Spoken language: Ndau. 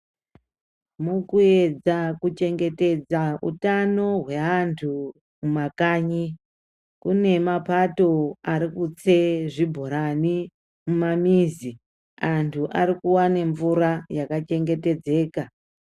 Mukuedza kuchengetedza utano hweandu mumakanyi, kune mapato arikutse zvibhorani mumamizi, andu ariku wane mvura yakachengetedzeka.